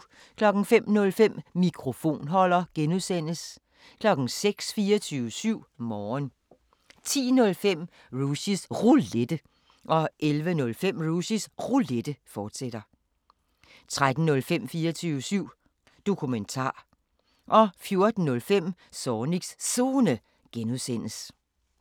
05:05: Mikrofonholder (G) 06:00: 24syv Morgen 10:05: Rushys Roulette 11:05: Rushys Roulette, fortsat 13:05: 24syv Dokumentar 14:05: Zornigs Zone (G)